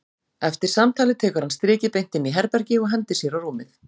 Eftir samtalið tekur hann strikið beint inn í herbergi og hendir sér á rúmið.